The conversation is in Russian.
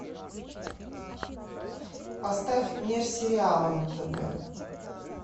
поставь мир сериала на тв